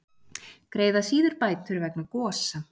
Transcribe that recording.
Greiða síður bætur vegna gosa